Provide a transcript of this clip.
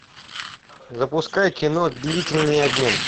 запускай кино длительный обмен